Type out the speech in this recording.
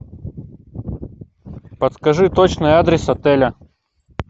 подскажи точный адрес отеля